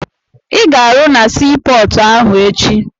Ị ga-arụ na sii pọọtụ ahụ echi!